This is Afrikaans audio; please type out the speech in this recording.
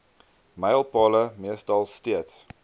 mylpale meestal steeds